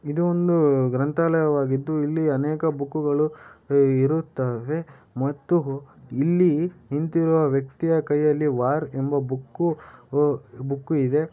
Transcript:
ಇದು ಒಂದು ಗ್ರಂಥಾಲಯವಾಗಿದ್ದು. ಇಲ್ಲಿ ಅನೇಕ ಬುಕ್ಕು ಗಳು ಇರುತ್ತವೆ. ಮತ್ತು ಇಲ್ಲಿ ನಿಂತಿರುವ ವ್ಯಕ್ತಿಯ ಕೈಯಲ್ಲಿ ವಾರ್ ಎಂಬ ಬುಕ್ಕು ವು ಬುಕ್ಕು ಇದೆ.